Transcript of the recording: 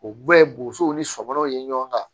O bɛɛ ye bosow ni sɔmɛnɛw ye ɲɔgɔn kan